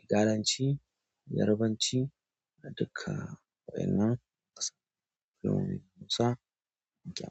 igalanci, Yarabanci da duka wa'inan ƙasashe.